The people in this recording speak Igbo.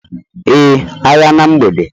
Ee, agha na mgbede